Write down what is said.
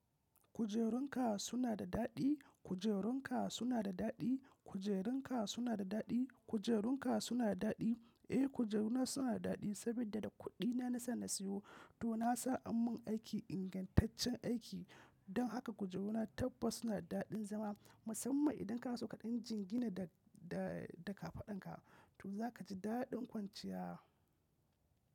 Kujerunka suna da daɗi? Kujerunka suna da daɗi? Kujerunka suna da daɗi? Kujerunka suna da daɗi? Eh kujeru na suna da daɗi saboda da kuɗi na na sa na siyo. To na sa an mun aiki ingantaccen aiki don haka kujeru na tabbas suna da daɗin zama. Musamman idan ka so kaɗan jingina da kafaɗan ka to za ka ji daɗin kwanciya.